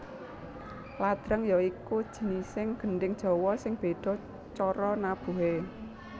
Ladrang ya iku jinising gendhing Jawa sing bedha cara nabuhe